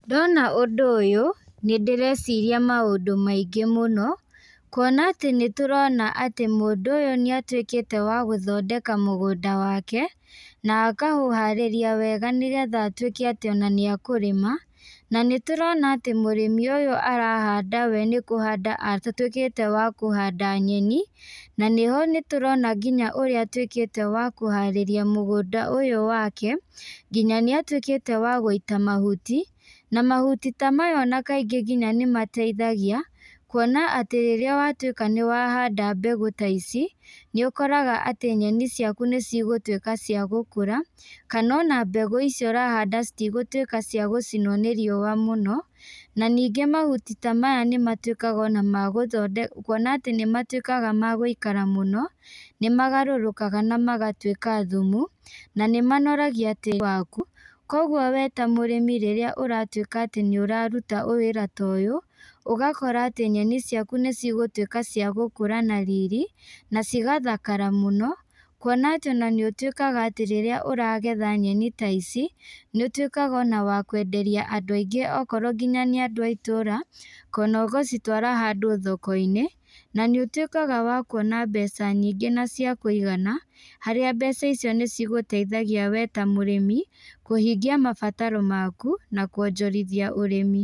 Ndona ũndũ ũyũ, nĩndĩreciria maũndũ maingĩ mũno, kuona atĩ nĩtũrona atĩ mũndũ ũyũ nĩatuĩkĩte wa gũthondeka mũgũnda wake, na akaũharĩria wega nĩgetha atuĩke atĩ ona nĩakũrĩma, na nĩtũrona atĩ mũrĩmi ũyũ arahanda we nĩkũhanda atuĩkĩte wa kũhanda nyeni, na nĩho nĩtũrona nginya ũrĩa atuĩkĩte wa kũharĩria mũgũnda ũyũ wake, nginya nĩatuĩkĩte wa gũita mahuti, na mahuti ta maya ona kaingĩ nginya nĩmateithagia, kuona atĩ rĩrĩa watuĩka nĩwahanda mbegũ ta ici, nĩũkoraga atĩ nyeni ciaku nĩcigũtuĩka cia gũkũra, kana ona mbegũ icio ũrahanda citigũtuĩka cia gũcinwo nĩ riua mũno, na ningĩ mahuti ta maya nĩmatuĩkaga ona magũtho kuona atĩ nĩmatuĩkaga ma gũikara mũno, nĩmagarũrũkaga na magatuĩka thumu, na nĩmanoragia tĩri waku, koguo we ta mũrĩmi rĩrĩa ũratuĩka atĩ nĩũraruta wĩra ta ũyũ, ũgakora atĩ nyeni ciaku nĩũigũtuĩka cia gũkũra na riri, na cigathakara mũno, kuona atĩ ona nĩũtuĩkaga atĩ rĩrĩa ũragetha nyeni ta ici, nĩũtuĩkaga ona wakwenderia andũ aingĩ okorwo nginya nĩ andũ a itũra, kana ũgacitwara handũ thokoinĩ, na nĩ ũtuĩkaga wa kuona mbeca nyingĩ na cia kũigana, harĩa mbeca icio nĩcigũteithagia we ta mũrĩmi, kũhingia mabataro maku, na kuonjorithia ũrĩmi.